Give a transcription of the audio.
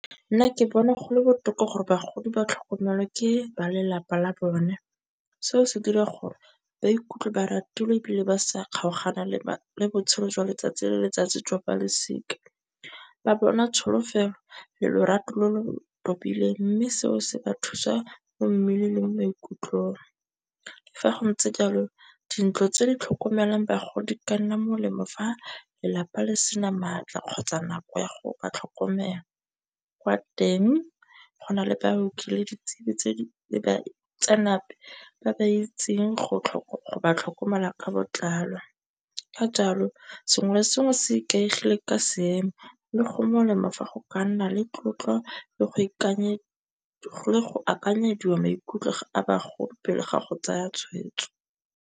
Nna ke bona gole botoka gore bagodi ba tlhokomelwa ke ba lelapa la bone, seo se dira gore ba ikutlwe ba ratilwe ebile ba sa kgaogana le botshelo jwa letsatsi le letsatsi jwa balosika. Ba bona tsholofelo le lorato lo lo kopileng, mme seo se ba thusa mo mmeleng le mo maikutlong. Fa go ntse jalo dintlo tse di tlhokomelang bagodi ka nna molemo fa lelapa le sena maatla kgotsa nako ya go ba tlhokomela kwa teng go na le baoki le ditsebi ba ba itseng go batlhokomelwa ka botlalo. Ka jalo, sengwe le sengwe se ikaegile ka seemo le go molemo fa go ka nna le tlotlo le go akanyediwa maikutlo a bagodi pele ga go tsaya tshweetso.